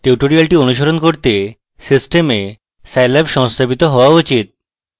tutorial অনুশীলন করতে system এ scilab সংস্থাপিত হওয়া উচিত